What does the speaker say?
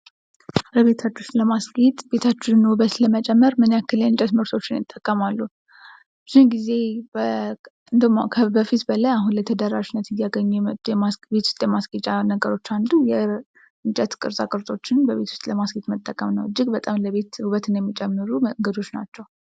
ቤታችንን ለማስጌት የቤታችንን ውበት ለመጨመር ምን ያህል የእንጨት ምርቶችን ይጠቀማሉ? ብዙ ጊዜ እንዲያውም ከበፊቱ ይልቅ አሁን ላይ ተደራሽነት እያገኙ የመጡ ነገሮች አንዱ የእንጨት አቀርጾችን እቤት ውስጥ ለማስጌጥ መጠቀም ነው ለቤትም እጅግ በጣም ውበትን የሚጨምሩ ነገሮች ናቸው